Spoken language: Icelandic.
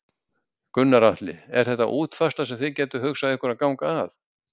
Gunnar Atli: Er þetta útfærsla sem þið gætuð hugsað ykkur að ganga að?